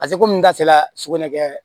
Paseke komi n ka sela sugunɛ kɛ